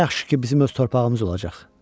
Nə yaxşı ki, bizim öz torpağımız olacaq.